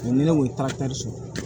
Ni ne ko sɔrɔ